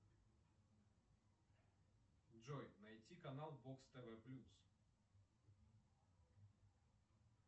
джой найти канал бокс тв плюс